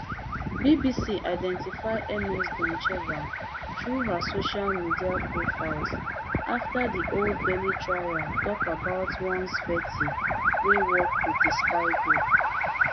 bbc identify ms doncheva through her social media profiles afta di old bailey trial tok about one tsveti wey work wit di spy group